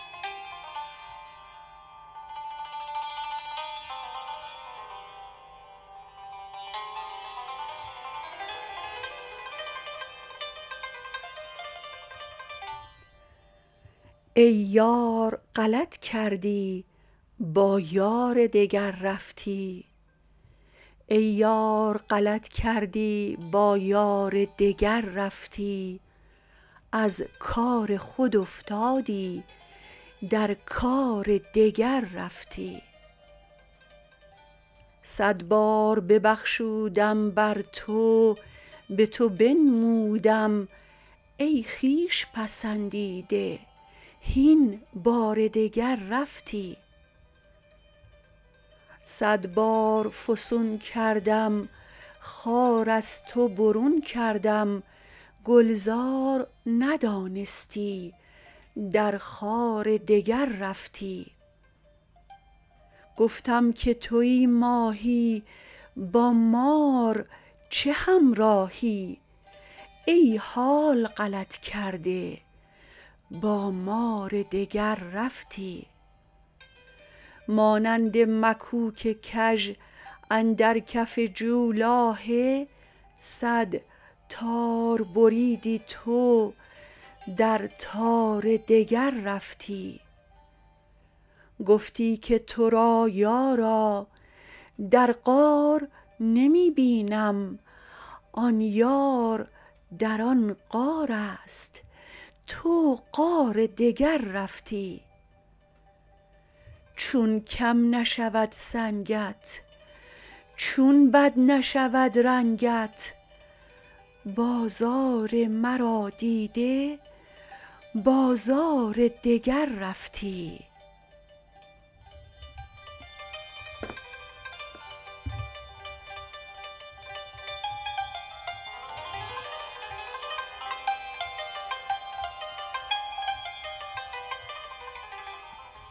ای یار غلط کردی با یار دگر رفتی از کار خود افتادی در کار دگر رفتی صد بار ببخشودم بر تو به تو بنمودم ای خویش پسندیده هین بار دگر رفتی صد بار فسون کردم خار از تو برون کردم گلزار ندانستی در خار دگر رفتی گفتم که توی ماهی با مار چه همراهی ای حال غلط کرده با مار دگر رفتی مانند مکوک کژ اندر کف جولاهه صد تار بریدی تو در تار دگر رفتی گفتی که تو را یارا در غار نمی بینم آن یار در آن غار است تو غار دگر رفتی چون کم نشود سنگت چون بد نشود رنگت بازار مرا دیده بازار دگر رفتی